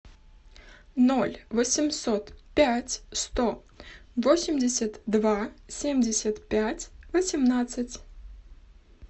ноль восемьсот пять сто восемьдесят два семьдесят пять восемнадцать